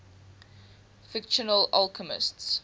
fictional alchemists